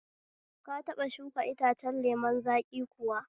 Ka taɓa shuka itacen lemun zaƙi kuwa?